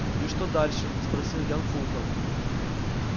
и что дальше спросил ян фулхам